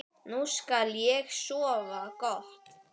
Nú skal ég sofa gott.